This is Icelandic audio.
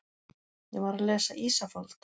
Ég var að lesa Ísafold.